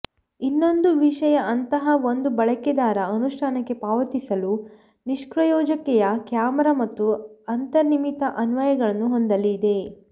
ಇನ್ನೊಂದು ವಿಷಯ ಅಂತಹ ಒಂದು ಬಳಕೆದಾರ ಅನುಷ್ಠಾನಕ್ಕೆ ಪಾವತಿಸಲು ನಿಷ್ಪ್ರಯೋಜಕತೆಯ ಕ್ಯಾಮೆರಾ ಮತ್ತು ಅಂತರ್ನಿರ್ಮಿತ ಅನ್ವಯಗಳನ್ನು ಹೊಂದಲಿದೆ